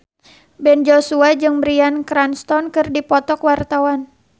Ben Joshua jeung Bryan Cranston keur dipoto ku wartawan